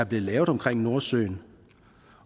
blevet lavet om nordsøen